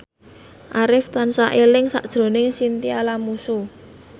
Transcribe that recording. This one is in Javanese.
Arif tansah eling sakjroning Chintya Lamusu